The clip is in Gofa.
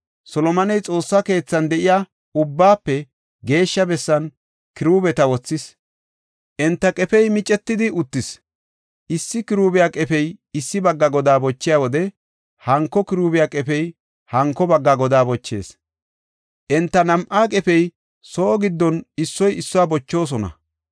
Solomoney Xoossa keethan de7iya Ubbaafe Geeshsha bessan kiruubeta wothis. Enta qefey micetidi uttis; issi kiruubiya qefey issi bagga godaa bochiya wode, hanko kiruubiya qefey hanko bagga godaa bochees; enta nam7aa qefey soo giddon issoy issuwa bochoosona.